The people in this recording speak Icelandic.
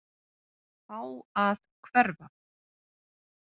Fá að hverfa.